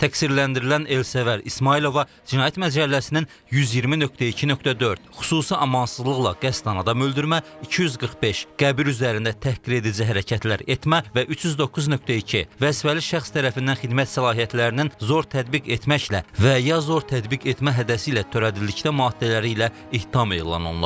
Təqsirləndirilən Elsəvər İsmayılova Cinayət Məcəlləsinin 120.2.4 xüsusi amansızlıqla qəsdən adam öldürmə, 245 qəbir üzərində təhqiredici hərəkətlər etmə və 309.2 vəzifəli şəxs tərəfindən xidmət səlahiyyətlərinin zor tətbiq etməklə və ya zor tətbiq etmə hədəsi ilə törədildikdə maddələri ilə ittiham elan olunub.